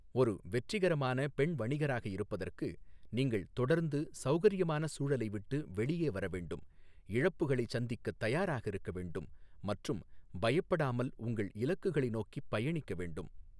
ஒரு வெற்றிகரமான பெண் வணிகராக இருப்பதற்கு, நீங்கள் தொடர்ந்து சௌகரியமான சூழலை விட்டு வெளியே வர வேண்டும், இழப்புகளைச் சந்திக்கத் தயாராக இருக்க வேண்டும், மற்றும் பயப்படாமல் உங்கள் இலக்குகளை நோக்கிப் பயணிக்க வேண்டும்.